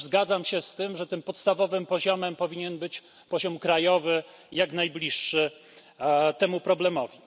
Chociaż zgadzam się z tym, że tym podstawowym poziomem powinien być poziom krajowy, jak najbliższy temu problemowi.